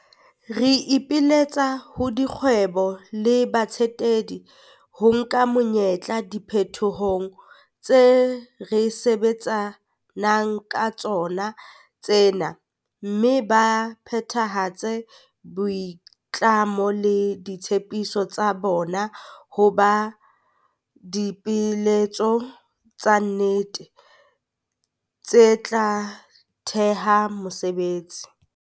Re ipiletsa ho dikgwebo le batsetedi ho nka monyetla diphetohong tse re sebetsa nang ka tsona tsena mme ba phethahatse boitlamo le ditshepiso tsa bona ho ba dipeeletso tsa nnete, tse tla theha mesebetsi.